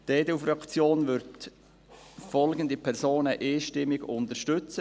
Die EDU-Fraktion wird folgende Personen einstimmig unterstützen: